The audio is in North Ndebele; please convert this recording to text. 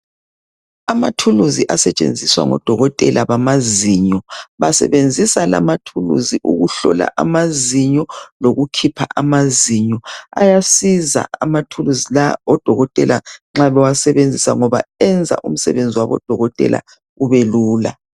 Amathulizi asetshenziswa ngodokotela ukuhlolwa amazinyo kanye lokukhipha amazinyo ,asetshenziswa ngodokotela ukuze umsebenzi wabo kubelula .